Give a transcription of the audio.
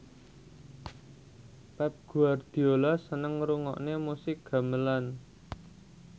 Pep Guardiola seneng ngrungokne musik gamelan